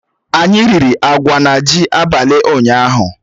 Anyị riri agwa na ji abalị ụnyaahụ